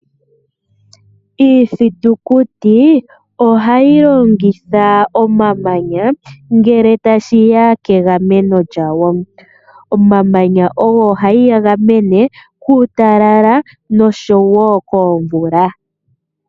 Iithitikuti ohayi longitha omamanya ngele tashiya kegameno lyawo. Omamanya oha yi ga gamene kuutalala nosho woo komvula.